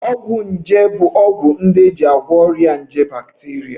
Ọgwụ nje bụ ọgwụ ndị e ji agwọ ọrịa nje bakteria